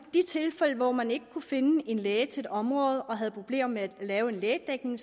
de tilfælde hvor man ikke kunne finde en læge til et område og havde problemer med at lave en lægedækning